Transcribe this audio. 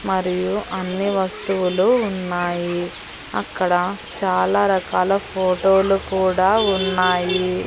మరియు అన్ని వస్తువులు ఉన్నాయి అక్కడ చాలా రకాల ఫోటోలు కూడా ఉన్నాయి.